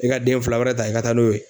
I ka den fila wɛrɛ ta i ka taa n'o ye.